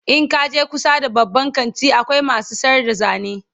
in kaje kusa da babban kanti akwai masu sayar da zane